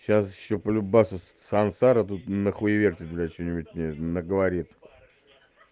сейчас ещё по-любому ещё сансара на хуеверитит блядь что-нибудь мне наговорит